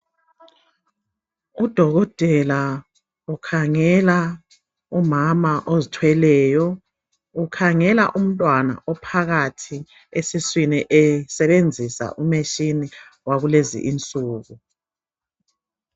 Udokotela ukhangela umama ozithweleyo ukhangela umntwana ophakathi esebenzisa u machine wakulezinsuku.